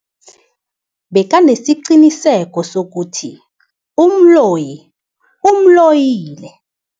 Bekanesiqiniseko sokuthi umloyi umloyile.